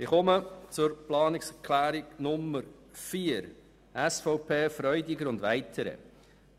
Ich komme zur Planungserklärung 4 SVP/Freudiger und weitere: